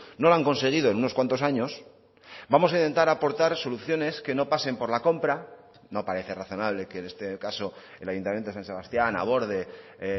no lo han conseguido en unos cuantos años vamos a intentar aportar soluciones que no pasen por la compra no parece razonable que en este caso el ayuntamiento de san sebastián aborde